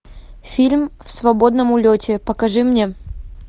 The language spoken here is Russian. фильм в свободном улете покажи мне